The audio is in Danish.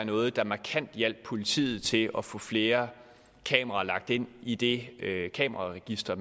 noget der markant ville hjælpe politiet til at få flere kameraer lagt ind i det kameraregister